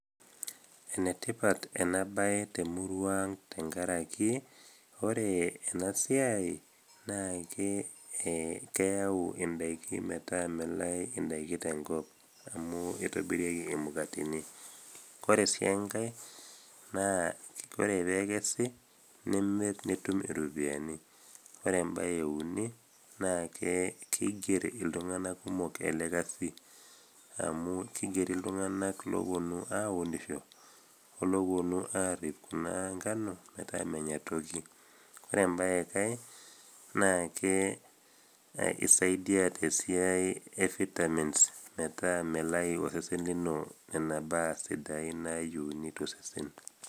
enetipat ena baye temurua ang tenkaraki ore enasiai naake eh, keyau indaiki metaa melai indaiki tenkop amu itobirieki imukateni kore sii enkae naa kore pekesi nimirr nitum iropiyiani ore embaye euni naake kiger iltung'anak kumok ele kasi amu kigeri iltung'anak loponu aunisho oloponu arrip kuna nkano metaa menya toki ore embaye kae naa ke isaidia tesiai e vitamins metaa melayu osesen lino nena baa sidain nayieuni tosesen.